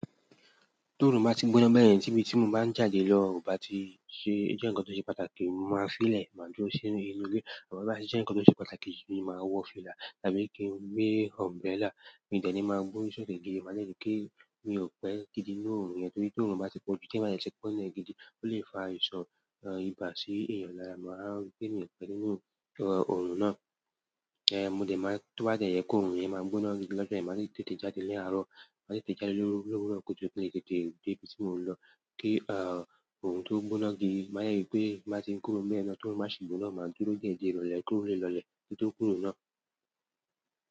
Tó run ń bá ti gbóná bẹ́yẹn, tí bí tí mò bá ń jáde lọ, ó bá ti ṣe-- jẹ́ ǹkan tó ṣe pàtàkì, mo máa fílẹ̀, máa dúró sí inú ilé. Àmọ́ tó bá ti jẹ́ ǹkan tó ṣe pàtàkì ni màá wọ fìlà tàbí kí n gbé umbrella. Mi ò dẹ̀ ní máa gbọ́ri sókè gidi, màá dè rí pé mi ò pẹ́ gidi nínú òrùn yẹn torí tórun bá ti pọ̀jù, tí èmi bá dè ti pé nílẹ́ gidi, ó lè fa àìsàn ibà sí èèyàn lára. Màá rí pé mi ò pẹ́ nínú òrùn náà. Eh, mo dẹ̀ máa-- tó bá dè jẹ́ pé òrùn yẹn máa gbóná gidi lọ́jọ́ yẹn, màá lè tètè jáde ní àárọ̀. Màá tètè jáde lóru, lọ́wúrọ̀ kùtùkùtù kín lè tètè dé ibi tí mò ń lọ. Kí òrùn tó gbóná gidi, màá dè rí tí n bá ti ń kúrò níbẹ̀yẹn tí òrùn bá sì gbóná, máa dúró díẹ̀ di ìrọ̀lẹ̀, kí òrùn lè lọ ilẹ̀ kí n tó kúrò náà.